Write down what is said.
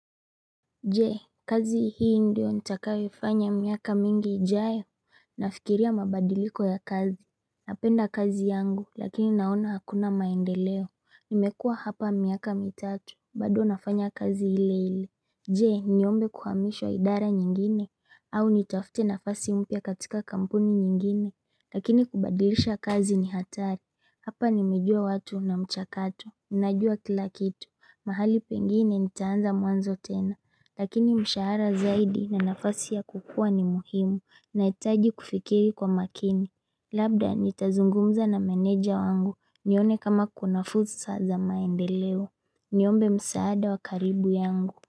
Jee kazi hii ndio nitakayoifanya miaka mingi ijayo Nafikiria mabadiliko ya kazi Napenda kazi yangu lakini naona hakuna maendeleo Nimekua hapa miaka mitatu bado nafanya kazi ile ile Jee niombe kuhamishwa idara nyingine au nitafute nafasi mpya katika kampuni nyingine Lakini kubadilisha kazi ni hatari Hapa nimejua watu na mchakato Ninajua kila kitu mahali pengine nitaanza mwanzo tena Lakini mshahara zaidi na nafasi ya kukua ni muhimu na itaji kufikiri kwa makini Labda nitazungumza na meneja wangu nione kama kuna fursa za maendeleo Niombe msaada wakaribu yangu.